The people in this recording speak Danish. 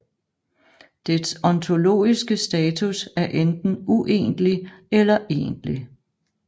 Dets ontologiske status er enten uegentlig eller egentlig